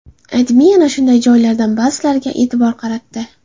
AdMe ana shunday joylardan ba’zilariga e’tibor qaratdi .